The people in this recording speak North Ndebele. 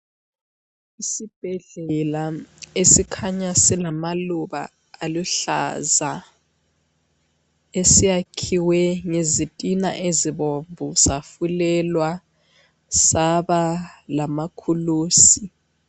Isibhedlela esikhanya silamaluba aluhlaza esiyakhiwe ngezitina ezibomvu safulelwa saba lamakhulusi.